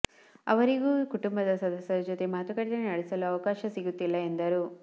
ಅವರಿಗೂ ಕುಟುಂಬ ಸದಸ್ಯರ ಜತೆ ಮಾತುಕತೆ ನಡೆಸಲು ಅವಕಾಶ ಸಿಗುತ್ತಿಲ್ಲ ಎಂದರು